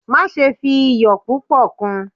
Maṣe fi iyọ pupọ kun!